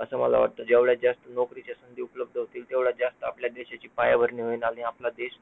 असं मला वाटतं, जेवढ्या जास्त नोकरीच्या संधी उपलब्ध होतील, तेवढ्या जास्त आपल्या देशाची पायाभरणी होईल आणि आपला देश